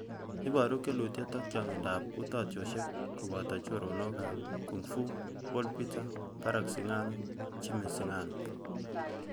Ibooru keluutyet ak chaang'indo ap utaatyoosiek, kobooto chooronok ap kung' fu ; Paul peter, Baraka singano, Jimmy singano.